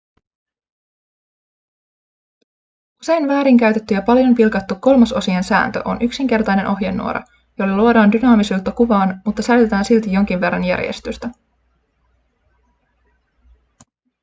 usein väärinkäytetty ja paljon pilkattu kolmasosien sääntö on yksinkertainen ohjenuora jolla luodaan dynaamisuutta kuvaan mutta säilytetään silti jonkin verran järjestystä